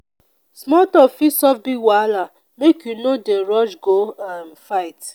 small tok fit solve big wahala make you no dey rush go um fight.